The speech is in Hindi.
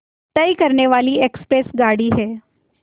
तय करने वाली एक्सप्रेस गाड़ी है